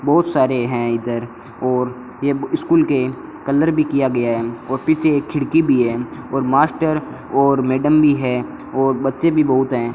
बहुत सारे हैं इधर और येग स्कूल के कलर भी किया गया है और पीछे एक खिड़की भी है और मास्टर और मैडम भी है और बच्चे भी बहुत हैं।